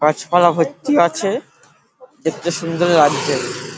গাছপালা ভর্তি আছে দেখতে সুন্দর লাগছে।